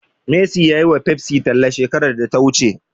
Messi ya yiwa Pepsi talla shekarar da ta wuce.